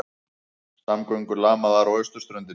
Samgöngur lamaðar á austurströndinni